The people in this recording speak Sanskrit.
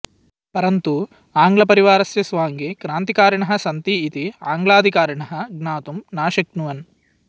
परन्तु आङ्ग्लपरिवारस्य स्वाङ्गे क्रान्तिकारिणः सन्ति इति आङ्ग्लाधिकारिणः ज्ञातुं नाशक्नुवन्